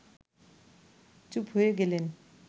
চুপ হয়ে গেলেন